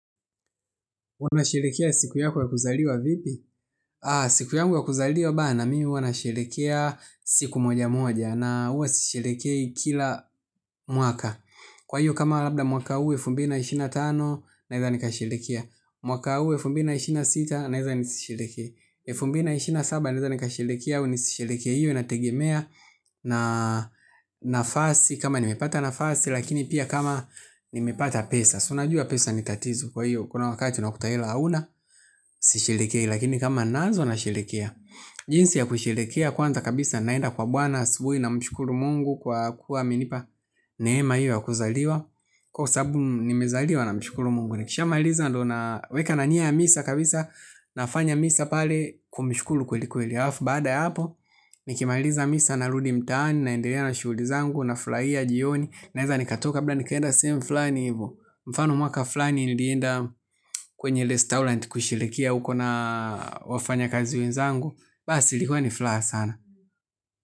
Unasherehekea siku yako ya kuzaliwa vipi? Siku yangu ya kuzaliwa bana mi huwa nasherehekea siku moja moja na huwa sisherehekei kila mwaka. Kwa hiyo kama labda mwaka huu wa elfu mbili na ishirini na tano naeza nikasherehekea. Mwaka huu wa elfu mbili na ishirini na sita naeza nisisherehekee. Elfu mbili na ishirini na saba naeza nikasherehekea au nisisherehekee hiyo inategemea na nafasi kama nimepata nafasi lakini pia kama nimepata pesa. Unajua pesa ni tatizo kwa hiyo. Kuna wakati unakuta hela hauna. Sisherehekei lakini kama ninaanza nasherehekea. Jinsi ya kusherehekea. Kwanza kabisa naenda kwa Bwana asubuhi namshukuru mungu kwa kuwa amenipa neema hiyo ya kuzaliwa. Kwa sababu nimezaliwa namshukuru mungu. Nikishamaliza ndo naweka na nia ya misa kabisa. Nafanya misa pale. Kwa mshukuru kweli kweli halafu baada ya hapo nikimaliza misa narudi mtaani. Naendelea na shughuli zangu. Nafurahia jioni. Naeza nikatoka labda nikaenda sehemu fulani hivo. Mfano mwaka fulani nilienda kwenye restaurant kusherehekea huko na wafanyakazi wenzangu. Basi ilikuwa ni furaha sana.